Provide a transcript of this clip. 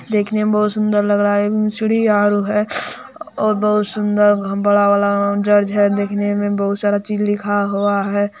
देखने मे बहुत सुंदर लग रहा है ए में सीढ़ी आरो है और बहुत सुंदर बड़ा वाला चर्च है देखने मे बहुत सारा चीज लिखा हुआ है।